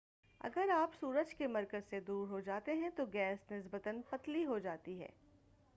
اگر آپ سورج کے مرکز سے دور جاتے ہیں تو گیس نسبتاً پتلی ہو جاتی ہے